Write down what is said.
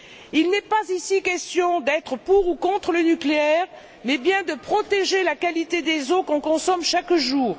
Il n'est pas ici question d'être pour ou contre le nucléaire, mais bien de protéger la qualité des eaux que nous consommons chaque jour.